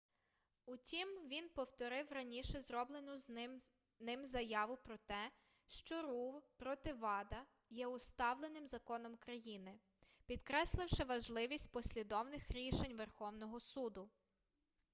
утім він повторив раніше зроблену ним заяву про те що ру проти вада є усталеним законом країни підкресливши важливість послідовних рішень верховного суду